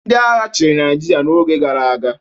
Ndị agha chịrị Naịjirịa n'oge gara aga.